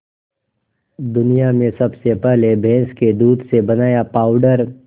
दुनिया में सबसे पहले भैंस के दूध से बनाया पावडर